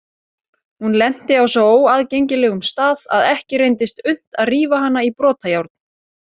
Hún lenti á svo óaðgengilegum stað að ekki reyndist unnt að rífa hana í brotajárn.